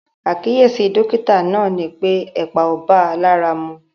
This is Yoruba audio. Àkíyèsí dọ́kítà náà ni pé ẹ̀pà ò bá a lára mu.